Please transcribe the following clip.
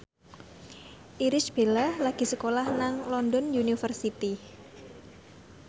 Irish Bella lagi sekolah nang London University